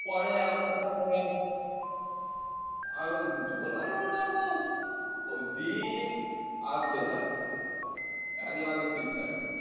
পরে ওই দিন আসবে যাবে এক মাঘে শীত যায় না